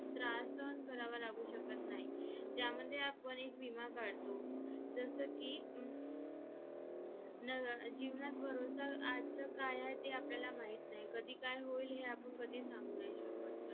त्याच्यानंतर आपले जे normal आसता की business communication business communication मध्ये आपण एखाद्याशी related business related कसा discussion कसे करतो असे बोलतो .